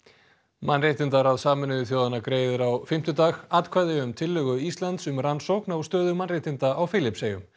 mannréttindaráð Sameinuðu þjóðanna greiðir á fimmtudag atkvæði um tillögu Íslands um rannsókn á stöðu mannréttinda á Filippseyjum